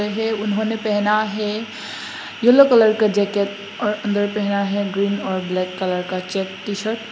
ये उन्होंने पहना है येलो कलर का जैकेट और अंदर पहना है ग्रीन और ब्लैक कलर का चेक टी शर्ट ।